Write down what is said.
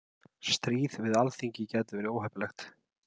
Stríð við Alþingi gæti verið óheppilegt